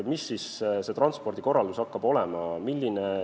Milline siis transpordikorraldus hakkab olema?